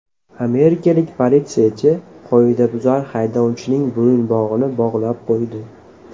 Amerikalik politsiyachi qoidabuzar haydovchining bo‘yinbog‘ini bog‘lab qo‘ydi .